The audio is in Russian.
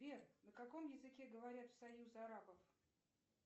сбер на каком языке говорят в союзе арабов